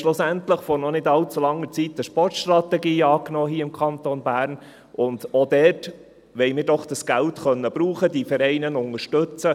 Wir haben schlussendlich vor noch nicht allzu langer Zeit hier im Kanton Bern eine Sportstrategie angenommen, und auch dort wollen wir doch dieses Geld nutzen können, um diese Vereine zu unterstützen.